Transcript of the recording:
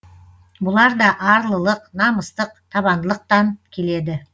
бұлар да арлылық намыстық табандылықтан келеді